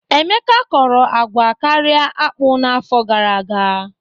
Emeka kọrọ agwa karịa akpụ n'afọ gara aga.